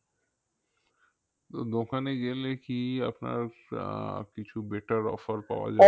তো দোকানে গেলে কি আপনার আহ কিছু better offer পাওয়া যায়